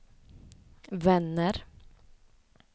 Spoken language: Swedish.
vänner